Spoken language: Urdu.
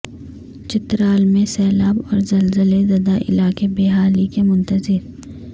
چترال میں سیلاب اور زلزلہ زدہ علاقے بحالی کے منتظر